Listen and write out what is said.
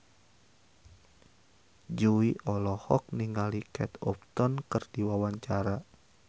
Jui olohok ningali Kate Upton keur diwawancara